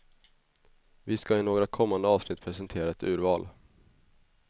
Vi ska i några kommande avsnitt presentera ett urval.